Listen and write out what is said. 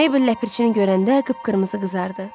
Meybl Ləpirçini görəndə qıpqırmızı qızardı.